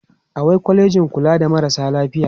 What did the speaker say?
awai kwalejin kula da marasa lafiya